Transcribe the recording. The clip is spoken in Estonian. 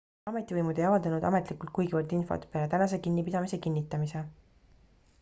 ametivõimud ei avaldanud ametlikult kuigivõrd infot peale tänase kinnipidamise kinnitamise